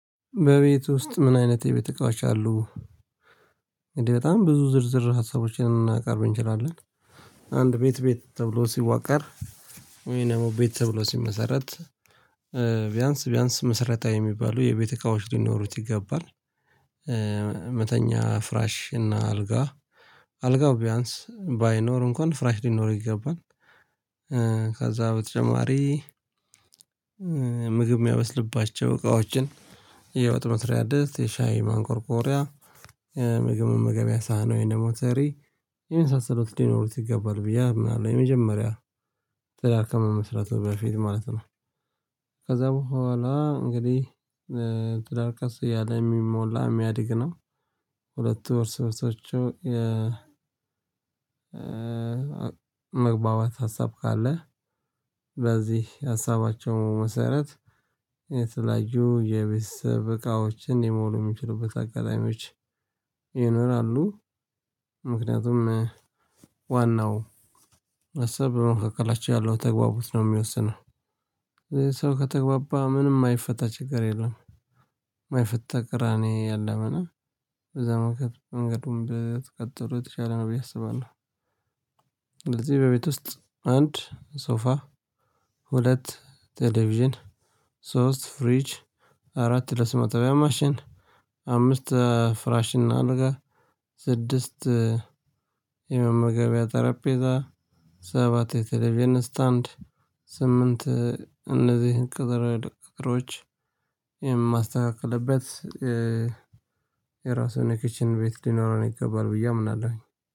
በቤት ውስጥ ምን አይነት የቤት እቃዎች አሉ? እንዴ በጣም ብዙ ዝርዝር ሀሳቦችን እናቀርብ እንችላለን። አንድ ቤት ቤት ተብሎ ሲዋቀር ወይን ደሞ ቤት ተብሎ ሲመሰረት እ ቢያንስ ቢያንስ መሰረታዊ የሚባሉ የቤት እቃዎች ሊኖሩት ይገባል። እ መተኛ ፍራሽ እና አልጋ። አልጋው ቢያንስ ባይኖር እንኳን ፍራሽ ሊኖር ይገባል። እ ከዛ በተጨማሪ እ ምግብ ሚያበስልባቸው እቃዎችን የወጥ መስሪያ ድስት፣ የሻይ ማንቆርቆሪያ፣ ምግብ መመገቢያ ሳህን ወይን ደሞ ትሪ የመሳሰሉት ሊኖሩት ይገባል ብዬ አምናለሁ። የመጀመሪያ ትዳር ከመመስረቱ በፊት ማለት ነው። ከዛ በኋላ እንግዲህ እ ትዳር ቀስ እያለ እሚሞላ፣ እሚያድግ ነው። ሁለቱ ወር ሶርሶቹ የ መግባባት ሀሳብ ካለ በዚህ ሀሳባቸው መሰረት የተለያዩ የቤተሰብ እቃዎችን ሊሞሉ ሚችሉበት አጋጣሚዎች ይኖራሉ። ምክንያቱም ዋናው አሰብ በመካከላቸው ያለው ተግባቦት ነው ሚወስነው። ሰው ከተግባባ ምንም ማይፈታ ችግር የለም። ማይፈታ ቅራኔ የለም እና በዛ መንገድ መንገድም ብትቀጥሉ የተቻለ ነው ብዬ አስባለው። ለዚህ በቤት ውስጥ አንድ ሶፋ፣ ሁለት ቴሌቭዥን፣ ሶስት ፍሪጅ፣ አራት ለስብ ማጠቢያ ማሽን፣ አምስት ኧ ፍራሽና አልጋ፣ ስድስት የመመገቢያ ጠረጴዛ ሰባት የቴሌብይን ስታንድ፣ ስምንት እ እነዚህን ቅጥረ ድቅቅሮች የማስተካክልበት እ የራሱን የክችን ቤት ሊኖረን ይገባል ብዬ አምናለሁኝ።